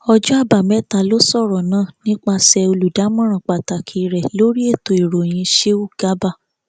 ọjọ àbámẹta ló sọrọ náà nípasẹ olùdámọràn pàtàkì rẹ lórí ètò ìròyìn sheu garba